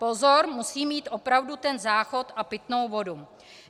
Pozor, musí mít opravdu ten záchod a pitnou vodu!